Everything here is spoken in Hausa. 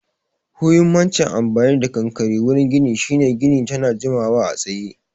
Huhimmacin amfani da konkare wurin gini shine gini tana jimawa a tsaye